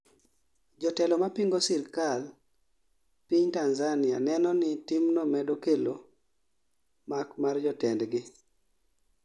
Jotelo ma pingo sirkand piny Tanzania, neno ni timno medo kelo mak mar jotendgi